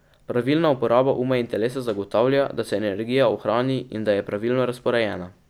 Pravilna uporaba uma in telesa zagotavlja, da se energija ohrani in da je pravilno razporejena.